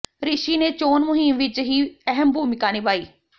ਰਿਸ਼ੀ ਨੇ ਚੋਣ ਮੁਹਿੰਮ ਵਿਚ ਵੀ ਅਹਿਮ ਭੂਮਿਕਾ ਨਿਭਾਈ